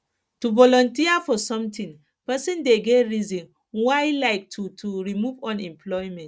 to volunteer for something persin de get reason why like to to remove unemployment